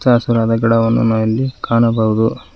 ಹಚ್ಚಹಸಿರಾದ ಗಿಡಗಳನ್ನು ನಾವು ಇಲ್ಲಿ ಕಾಣಬಹುದು.